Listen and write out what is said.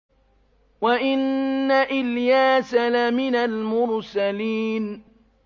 وَإِنَّ إِلْيَاسَ لَمِنَ الْمُرْسَلِينَ